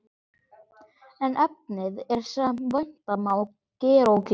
En efnið er, sem vænta má, gerólíkt.